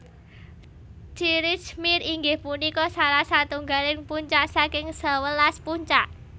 Tirich Mir inggih punika salah satunggaling puncak saking sewelas puncak